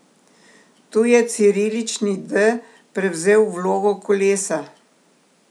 Tu je cirilični D prevzel vlogo kolesa.